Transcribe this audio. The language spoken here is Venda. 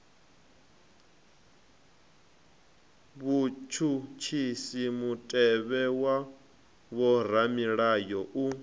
vhutshutshisi mutevhe wa vhoramilayo u